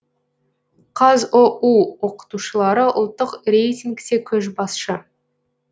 қазұу оқытушылары ұлттық рейтингте көшбасшы